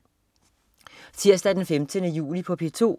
Tirsdag den 15. juli - P2: